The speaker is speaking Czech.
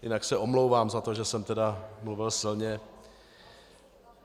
Jinak se omlouvám za to, že jsem tedy mluvil silně.